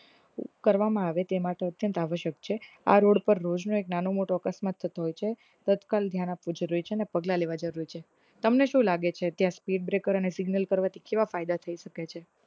કરવામાં આવે તે માટે અત્યંત આવશ્યક છે આ રોડ પર રોજ નો એક નાનો મોટો અકસ્માત થતો હોય છે તત્કાલ ધ્યાન આપવું જરૂરી છે અને પગલાં લેવા જરૂરી છે તમને શુ લગે છે કે speed breaker અન signal કરવાથી કેવા ફાયદા થઇ શકે છે